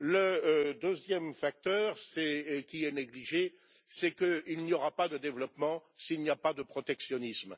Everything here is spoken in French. Le deuxième aspect qui est négligé, c'est qu'il n'y aura pas de développement s'il n'y a pas de protectionnisme.